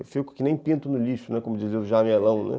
Eu fico que nem pinto no lixo, como dizia o Jamelão.